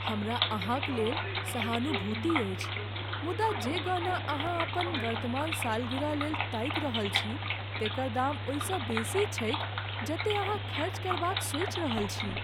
हमरा अहाँक लेल सहानुभूति अछि मुदा जे गहना अहाँ अपन वर्तमान सालगिरहलेल ताकि रहल छी तेकर दाम ओहिसँ बेसी छैक जतेक अहाँ खर्च करबाक सोचि रहल छी।